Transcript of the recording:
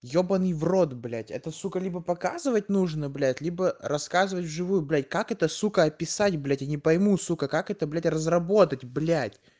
ебанный в рот блять это сука либо показывать нужно блять либо рассказывать в живую блять как это сука описать блять я не пойму сука как это блять разработать блять